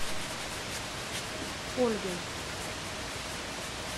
ольгой